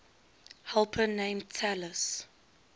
helper named talus